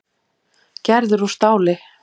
Gerður úr stáli.